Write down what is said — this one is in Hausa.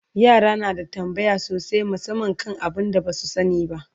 yara na da tambaya sosai musamman kan abun da Basu sani ba